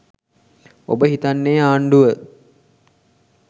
ඔබ හිතන්නේ ආණ්ඩුව